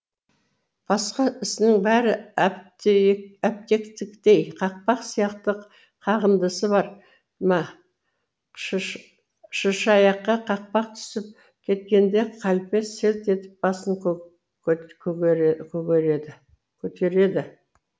басқа ісінің бәрі әптиектей қақпақ сияқты қағындысы бар ма шышыаяққа қақпақ түсіп кеткенде қалпе селт етіп басын көгерді